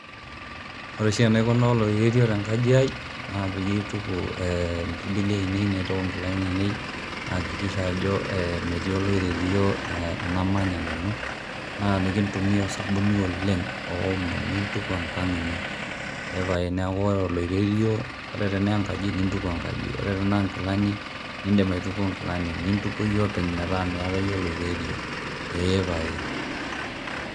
Ore oshi enaikunaa oloirerio te nkaji ai naa peyie aituku impirbili ainei, naitau nkilani ainei naikikisha ajo ee metii oloirerio e namanya nanu naa enikintumia osabuni oleng' oomo, nintuku enkang' ino. Ee pae neeku ore oloirerio ore tene nkaji nintuku enkaji, ore tenee nkilani nindim aituko nkilani, nintuko iyie openy metaa miata iyie oloirerio, ee pae.